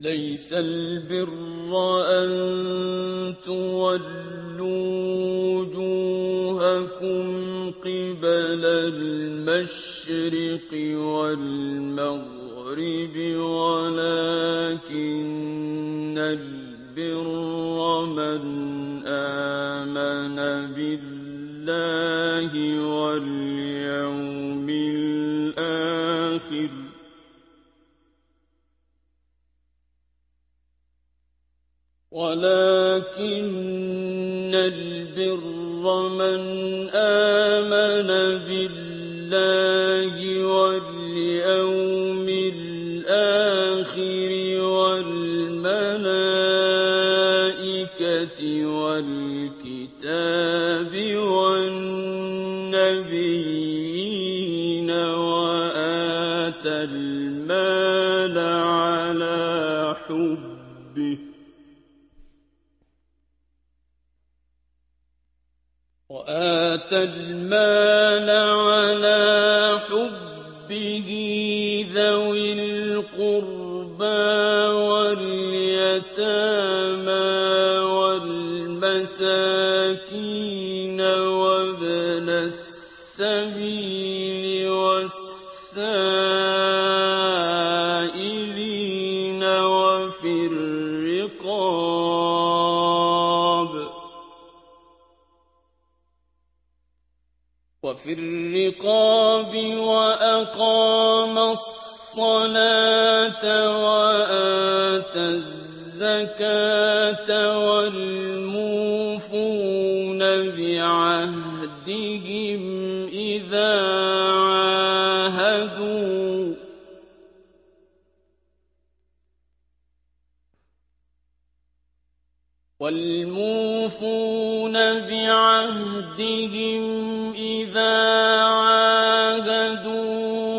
۞ لَّيْسَ الْبِرَّ أَن تُوَلُّوا وُجُوهَكُمْ قِبَلَ الْمَشْرِقِ وَالْمَغْرِبِ وَلَٰكِنَّ الْبِرَّ مَنْ آمَنَ بِاللَّهِ وَالْيَوْمِ الْآخِرِ وَالْمَلَائِكَةِ وَالْكِتَابِ وَالنَّبِيِّينَ وَآتَى الْمَالَ عَلَىٰ حُبِّهِ ذَوِي الْقُرْبَىٰ وَالْيَتَامَىٰ وَالْمَسَاكِينَ وَابْنَ السَّبِيلِ وَالسَّائِلِينَ وَفِي الرِّقَابِ وَأَقَامَ الصَّلَاةَ وَآتَى الزَّكَاةَ وَالْمُوفُونَ بِعَهْدِهِمْ إِذَا عَاهَدُوا ۖ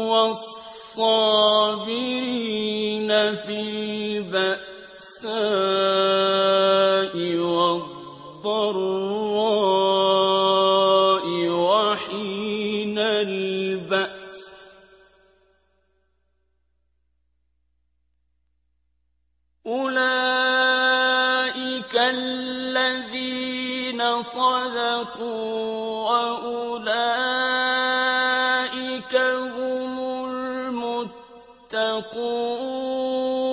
وَالصَّابِرِينَ فِي الْبَأْسَاءِ وَالضَّرَّاءِ وَحِينَ الْبَأْسِ ۗ أُولَٰئِكَ الَّذِينَ صَدَقُوا ۖ وَأُولَٰئِكَ هُمُ الْمُتَّقُونَ